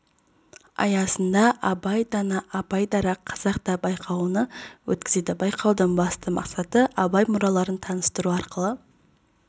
аясында абай дана абай дара қазақта байқауны өткізеді байқаудың басты мақсаты абай мұраларын таныстыру арқылы